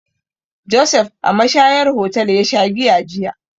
Josef a mashayar hotel ya sha giya jiya.